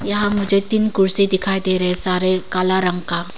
यहां मुझे तीन कुर्सी दिखाई दे रहे है सारे काला रंग का।